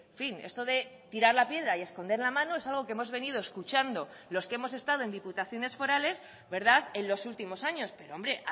fin esto de tirar la piedra y esconder la mano es algo que hemos venido escuchando los que hemos estado en diputaciones forales en los últimos años pero hombre